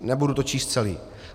Nebudu to číst celé.